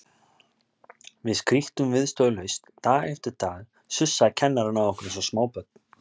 Við skríktum viðstöðulaust, dag eftir dag sussaði kennarinn á okkur eins og smábörn.